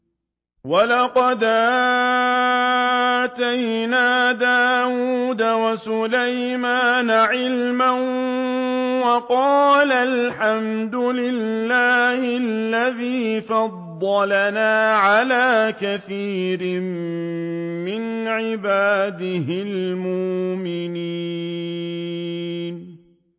وَلَقَدْ آتَيْنَا دَاوُودَ وَسُلَيْمَانَ عِلْمًا ۖ وَقَالَا الْحَمْدُ لِلَّهِ الَّذِي فَضَّلَنَا عَلَىٰ كَثِيرٍ مِّنْ عِبَادِهِ الْمُؤْمِنِينَ